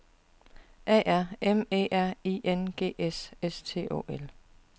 A R M E R I N G S S T Å L